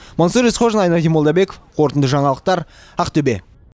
мансұр есқожин айнадин молдабеков қорытынды жаңалықтар ақтөбе